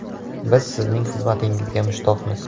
Biz sizning xizmatingizga mushtoqmiz.